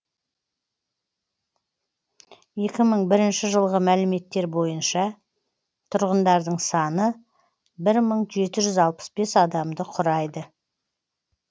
екі мың бірінші жылғы мәліметтер бойынша тұрғындардың саны бір мың жеті жүз алпыс бес адамды құрайды